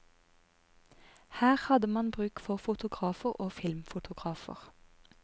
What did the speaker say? Her hadde man bruk for fotografer og filmfotografer.